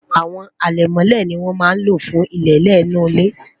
àwọn alemole ní wọn má ló fún ilele inú ile